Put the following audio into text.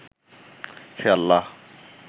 হে আল্লাহ